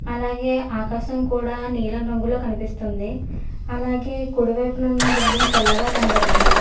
అలాగే ఆకాశం కూడా నీలం రంగులో కనిపిస్తుంది అలాగే కుడివైపునున్న బిల్డింగ్ తెల్లగా కనబడుతుంది.